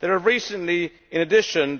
There have